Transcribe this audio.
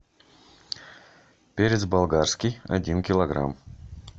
перец болгарский один килограмм